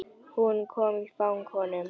Hún kom í fang honum.